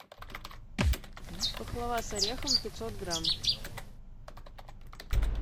пахлава с орехом пятьсот грамм